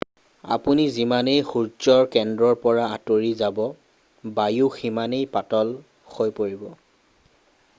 আপুনি যিমানেই সূৰ্যৰ কেন্দ্ৰৰ পৰা আঁতৰি যাব বায়ুও সিমানেই পাতল হৈ পৰিব